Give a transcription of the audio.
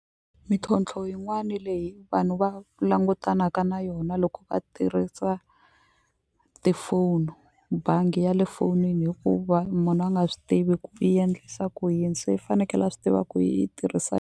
Mintlhontlho yin'wani leyi vanhu va langutanaka na yona loko va tirhisa tifoni bangi ya le fonini hikuva munhu a nga swi tivi ku yi endlisa ku yini se yi fanekele a swi tiva ku yi tirhisa.